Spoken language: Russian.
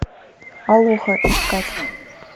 алоха искать